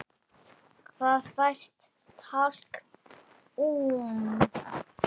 Hvar fæst talkúm?